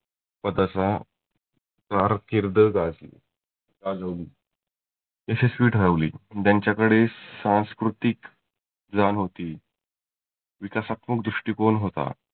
पदाचा कारकिर्द गाजवली. यशस्वी ठरवली. ज्यांच्याकडे सांस्कृतीक जान होती. विकासात्मक दृष्टीकोन होता.